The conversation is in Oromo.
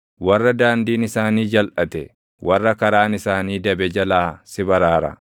warra daandiin isaanii jalʼate, warra karaan isaanii dabe jalaa si baraara.